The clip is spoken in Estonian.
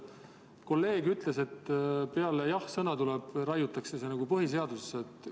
Kolleeg ütles, et peale jah-sõna raiutakse see nagu põhiseadusesse.